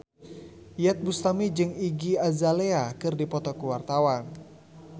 Iyeth Bustami jeung Iggy Azalea keur dipoto ku wartawan